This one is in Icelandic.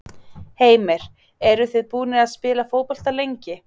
Heimir: Eruð þið búnir að spila fótbolta lengi?